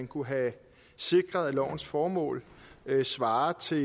kunne have sikret at lovens formål svarer til